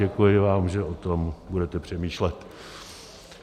Děkuji vám, že o tom budete přemýšlet.